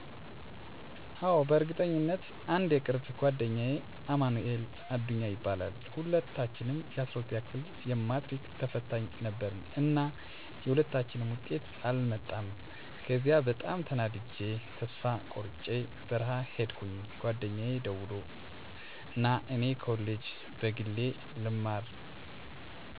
አዎ፣ በእርግጠኝነት! *አንድ የቅርብ ጓደኛዬ አማንኤል አዱኛ ይባላል፦ *ሁለታችንም የ12ኛ ክፍል የማትሪክ ተፈታኝ ነበርን እና የሁለታችንም ውጤት አልመጣም ከዚያ በጣም ተናድጀ ተስፋ ቆርጨ በረሀ ሂድኩኝ ጓደኛየ ደውሎ ና እኔ ኮሌጅ በግሌ ልማር ተመዝግቢያለሁ ሲለኝ እረ ተወኝ ባክህ ከእንግዲህ ሰው ልሆን ብየ በብስጭት ተናገርኩት ዩኒቨርስቲም ኮሌጅም ያው ነው ና ተማር እያለ ለመነኝ እና እሱ እየተማረ እኔ በረሀ ቁጭ ብየ አንድ አመት ሞላኝ ሁለተኛው አመት ላይ በጣም ና እያለ ሲጨቀጭቀኝ መጣሁና ኮሌጅ ትምህርት ተመዝግቤ ትምህርቴን ጨርሸ ድግሪየን ተመረቀሁ። *ያ ምክር ምን ያህል አስፈላጊ እንደሆነ የተረዳሁት ከብዙ ጊዜ በኋላ ነው።